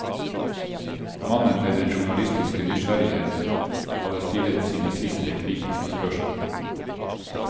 Mannen med den journalistiske nysgjerrighet hadde stillet sine siste kritiske spørsmål.